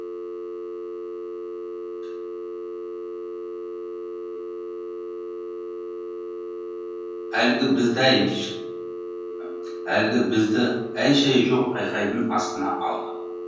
әлгі бізді әй әлгі бізді әй шәй жоқ айқайдың астына алды